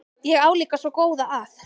Ég á líka svo góða að.